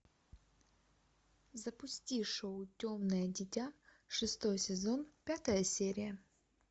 запусти шоу темное дитя шестой сезон пятая серия